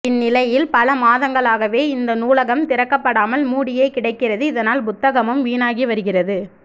இந்நிலையில் பல மாதங்களாகவே இந்த நூலகம் திறக்கப்படாமல் மூடியே கிடக்கிறது இதனால் புத்தகமும் வீணாகி வருகிறது